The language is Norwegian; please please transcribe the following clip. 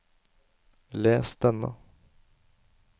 les denne